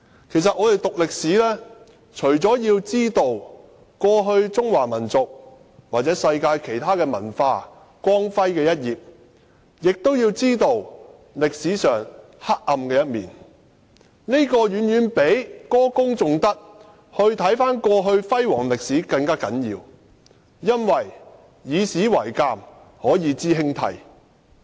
其實，我們讀歷史，除了要知道中華民族或世界其他文化過去光輝的一頁外，也要知道歷史上黑暗的一面，這遠比歌功頌德、回望過去輝煌的歷史更為重要，因為以史為鑒，可以知興替。